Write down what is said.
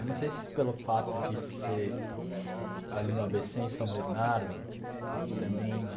Eu não sei se pelo fato de ser ali no á bê cê em São Bernardo e também de...